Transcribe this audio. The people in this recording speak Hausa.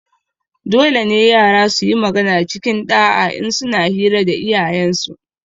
Dolene yara suyi magana cikin ɗa'a in suna hira da iyayensu